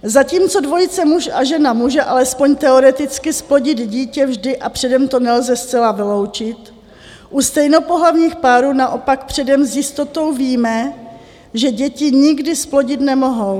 Zatímco dvojice muž a žena může alespoň teoreticky zplodit dítě vždy a předem to nelze zcela vyloučit, u stejnopohlavních párů naopak předem s jistotou víme, že děti nikdy zplodit nemohou.